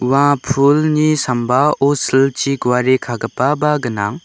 ua pulni sambao silchi guare kagipaba gnang.